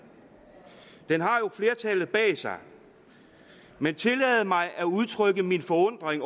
den har jo flertallet bag sig men tillad mig at udtrykke min forundring